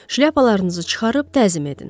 Şlyapalarınızı çıxarıb təzim edin.